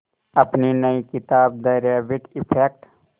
अपनी नई किताब द रैबिट इफ़ेक्ट